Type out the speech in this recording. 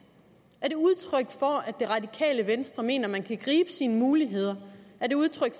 er det radikale venstre mener at man kan gribe sine muligheder er det udtryk